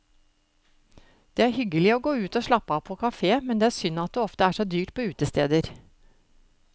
Det er hyggelig å gå ut og slappe av på kafé, men det er synd at det ofte er så dyrt på utesteder.